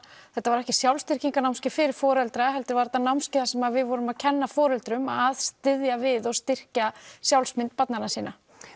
þetta var ekki sjálfstyrkingar námskeið fyrir foreldra heldur var þetta námskeið þar sem við vorum að kenna foreldrum að styðja við og styrkja sjálfsmynd barnanna sinna